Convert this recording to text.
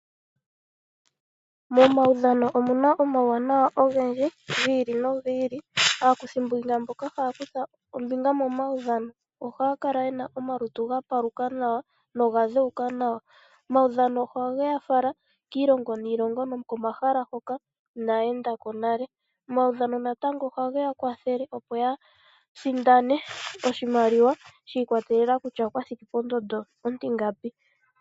Momaudhano omu na omauwanawa ogendji gi ili nogi ili. Aakuthimbinga mboka haya kutha ombinga momaudhano, ohaya kala ye na omalutu ga paluka nawa noga dheuka nawa. Omaudhano ohage ya fala kiilongo niilongo nokomahala hoka inaa enda ko nale. Omaudhano natango ohage ya kwathele opo ya sindane oshimaliwa, shi ikwatelela kutya okwa thiki pondondo ontingapi.